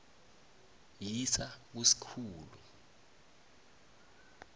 yisa ku sikhulu